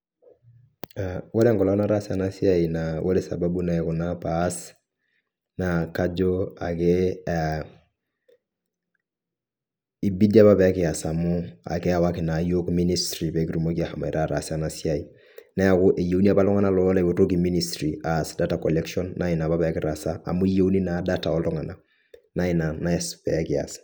Wore enkolong' nataasa ena siai naa wore sababu naikuna paas, naa kajo ake ibidi apa pee kias amu keyawaki naa iyiok ministry pee kitumoki ashomoita aataas ena siai. Neeku eyieuni apa iltunganak ooretoki ministry aas data collection naa iniapa pee kitaasa, amu eyieuni naa data ooltunganak. Naa inia naas pee kias.